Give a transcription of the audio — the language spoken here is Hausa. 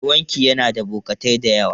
Mai wanki yana da bokatai da yawa.